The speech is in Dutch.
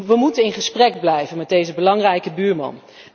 We moeten in gesprek blijven met deze belangrijke buurman.